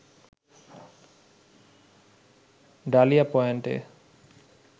dahlia পয়েন্টে